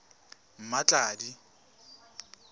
mmatladi